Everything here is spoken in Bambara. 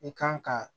I kan ka